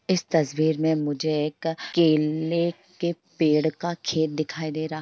इस तस्वीर मे मुझे एक केलए के पेड़ का खेत दिखाई दे रहा है।